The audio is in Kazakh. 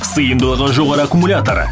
сыйымдылығы жоғары аккумулятор